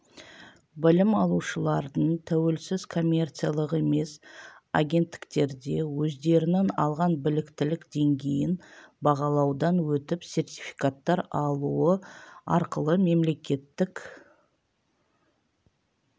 білім алушылардың тәуелсіз коммерциялық емес агенттіктерде өздерінің алған біліктілік деңгейін бағалаудан өтіп сертификаттар алуы арқылы мемлекеттік